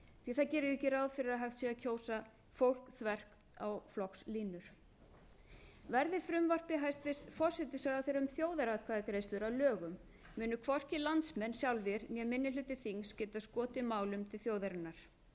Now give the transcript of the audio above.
því að það gerir ekki ráð fyrir því að hægt sé að kjósa fólk þvert á flokkslínur verði frumvarpi hæstvirts forsætisráðherra um þjóðaratkvæðagreiðslur að lögum munu hvorki landsmenn sjálfir né minni hluti þings geta skotið málum til þjóðarinnar